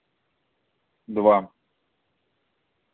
два